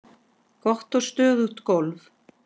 Gott og stöðugt golf!